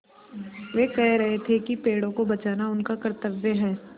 वे कह रहे थे कि पेड़ों को बचाना उनका कर्त्तव्य है